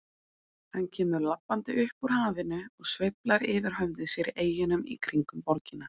Hann kemur labbandi upp úr hafinu og sveiflar yfir höfði sér eyjunum í kringum borgina.